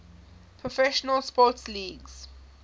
professional sports leagues